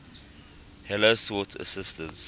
heller sought assistance